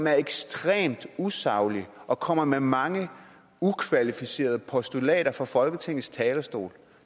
er ekstremt usaglig og kommer med mange ukvalificerede postulater fra folketingets talerstol